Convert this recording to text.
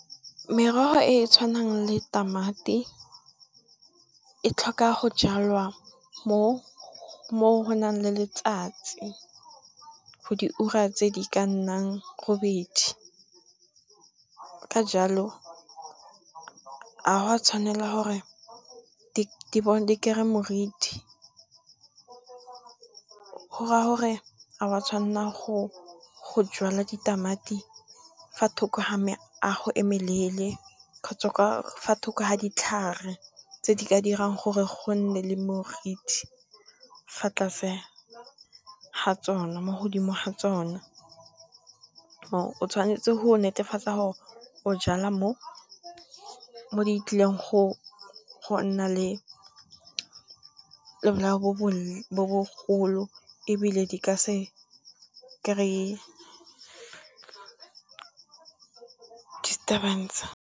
Merogo e e tshwanang le tamati e tlhoka go jalwa mo go nang le letsatsi diura tse di ka nnang robedi, ka jalo ga go a tshwanela gore di kry-e moriti. Go raya gore ga wa tshwanela go jala ditamati fa thoko ga meago e melele, kgotsa fa thoko ga ditlhare tse di ka dirang gore go nne le morithi fa tlase ga tsona, mo godimo ga tsone. O tshwanetse go netefatsa gore o jala mo di tlileng go nna le bolao bo bogolo ebile di ka se kry-e disturbance.